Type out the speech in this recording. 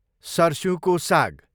सर्स्युको साग